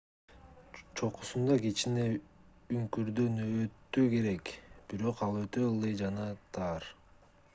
чокусунда кичине үңкүрдөн өтүү керек бирок ал өтө ылдый жана тар